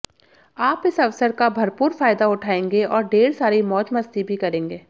आप इस अवसर का भरपूर फायदा उठाएंगे और ढेर सारी मौज मस्ती भी करेंगे